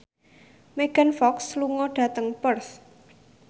Megan Fox lunga dhateng Perth